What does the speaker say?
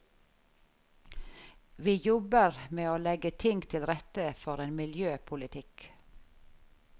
Vi jobber med å legge ting til rette for en miljøpolitikk.